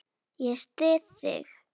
Ég styð þig.